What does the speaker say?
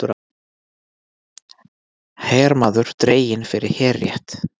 Hermaður dreginn fyrir herrétt